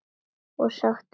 Og sagst vera glöð.